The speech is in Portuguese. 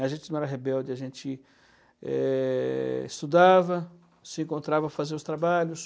A gente não era rebelde, a gente, eh... estudava, se encontrava para fazer os trabalhos.